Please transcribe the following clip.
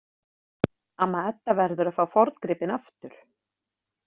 Amma Edda verður að fá forngripinn aftur.